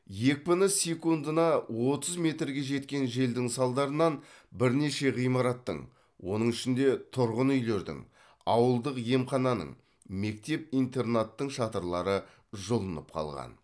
екпіні секундына отыз метрге жеткен желдің салдарынан бірнеше ғимараттың оның ішінде тұрғын үйлердің ауылдық емхананың мектеп интернаттың шатырлары жұлынып қалған